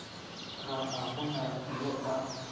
ga a gona yo a